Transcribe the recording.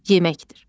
Yeməkdir.